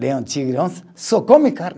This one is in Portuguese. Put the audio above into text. Leão, tigre, onça, só come carne.